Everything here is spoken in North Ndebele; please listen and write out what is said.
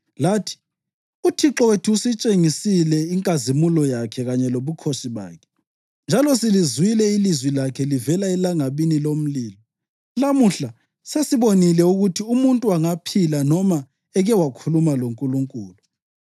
Lathi, ‘ UThixo wethu usitshengisile inkazimulo yakhe kanye lobukhosi bakhe, njalo silizwile ilizwi lakhe livela elangabini lomlilo. Lamuhla sesibonile ukuthi umuntu angaphila noma eke wakhuluma loNkulunkulu.